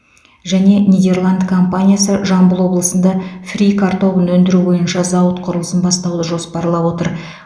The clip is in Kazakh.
және нидерланды компаниясы жамбыл облысында фри картобын өндіру бойынша зауыт құрылысын бастауды жоспарлап отыр